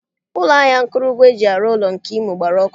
Ụlọ ahịa akụrụngwa eji arụ ụlọ nke Imo gbara ọkụ